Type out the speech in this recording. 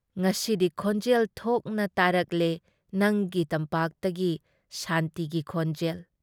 ꯉꯁꯤꯗꯤ ꯈꯣꯟꯖꯦꯜ ꯊꯣꯛꯅ ꯇꯥꯔꯛꯂꯦ ꯅꯪꯒꯤ ꯇꯝꯄꯥꯛꯇꯒꯤ ꯁꯥꯟꯇꯤꯒꯤ ꯈꯣꯟꯖꯦꯜ ꯫